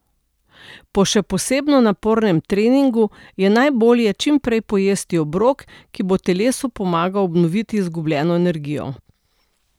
Po še posebno napornem treningu je najbolje čim prej pojesti obrok, ki bo telesu pomagal obnoviti izgubljeno energijo.